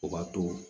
O ka to